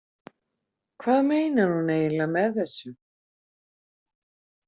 Hvað meinar hún eiginlega með þessu?